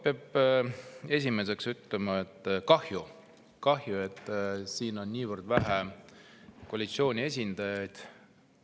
Peab esiteks ütlema, et kahju, et siin on niivõrd vähe koalitsiooni esindajaid.